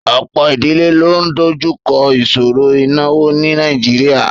Ọ̀pọ̀ ìdílé ló ń dojú kọ ìṣòro ìnáwó ní Nàìjíríà